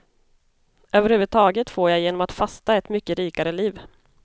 Överhuvudtaget får jag genom att fasta ett mycket rikare liv.